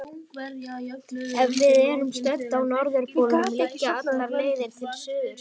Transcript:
Ef við erum stödd á norðurpólnum liggja allar leiðir til suðurs.